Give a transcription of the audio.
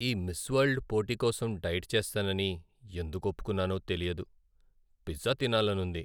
ఈ Miss World పోటీ కోసం డైట్ చేస్తానని ఎందుకు ఒప్పుకున్నానో తెలియదు. పిజ్జా తినాలనుంది.